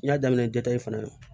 N y'a daminɛ dɔ in fana na